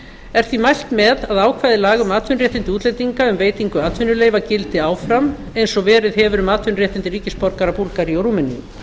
er því mælt með að ákvæði laga um atvinnuréttindi útlendinga um veitingu atvinnuleyfa gildi áfram eins og verið hefur um atvinnuréttindi ríkisborgara búlgaríu og rúmeníu